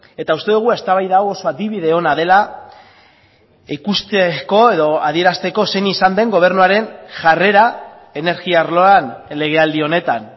eta uste dugu eztabaida hau oso adibide ona dela ikusteko edo adierazteko zein izan den gobernuaren jarrera energia arloan legealdi honetan